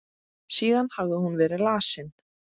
Síðan hafði hún verið lasin.